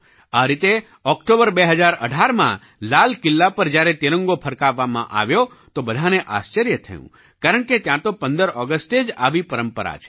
આ રીતે ઑક્ટોબર 2018માં લાલ કિલ્લા પર જ્યારે તિરંગો ફરકાવવામાં આવ્યો તો બધાંને આશ્ચર્ય થયું કારણકે ત્યાં તો 15 ઑગસ્ટે જ આવી પરંપરા છે